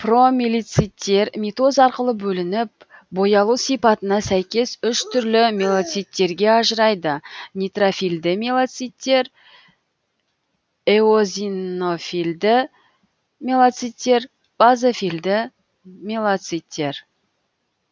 промиелоциттер митоз арқылы бөлініп боялу сипатына сәйкес үш түрлі миелоциттерге ажырайды нейтрофильді миелоциттер эозинофильді миелоциттер базофильді миелоциттер